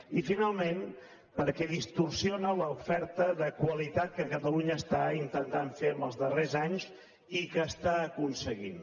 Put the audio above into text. i finalment perquè distorsiona l’oferta de qualitat que catalunya està intentant fer els darrers anys i que està aconseguint